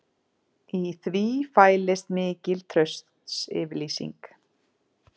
Í því fælist mikil traustsyfirlýsing